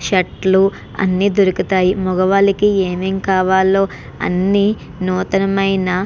Shirt లు అని దొరుకుతాయి. మొగవాలకి ఎం ఎం కావాలో అని నూతనం ఆయన--